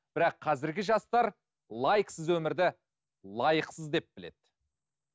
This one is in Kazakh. бірақ қазіргі жастар лайксіз өмірді лайықсыз деп біледі